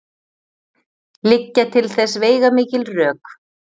Liggja til þess veigamikil rök.